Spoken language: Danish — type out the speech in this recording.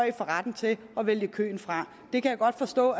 i får retten til at vælge køen fra det kan jeg godt forstå